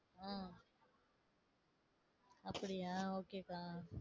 உம் அப்படியா? ok க்கா.